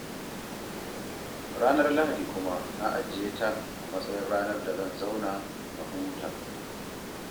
Ranar Lahadi kuma na ajiye ta a matsayin ranar da zan zauna na huta